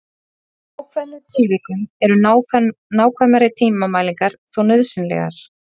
Í ákveðnum tilvikum eru nákvæmari tímamælingar þó nauðsynlegar.